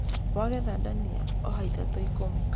Wagetha ndania, oha ithatũ ikũmi.